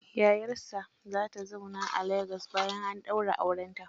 Yayarsa za ta zauna a Lagos bayan an daura aurenta.